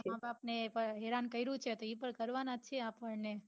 આપડા માં બાપ ને હેરાન કર્યું છે તો એ પન કરવા ના છે આપણ ને